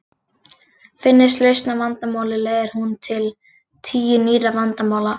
Finnist lausn á vandamáli leiðir hún til tíu nýrra vandamála.